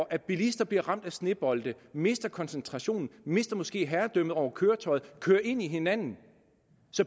at bilister bliver ramt af snebolde mister koncentrationen mister måske herredømmet over køretøjet og kører ind i hinanden